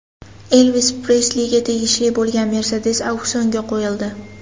Elvis Presliga tegishli bo‘lgan Mercedes auksionga qo‘yildi.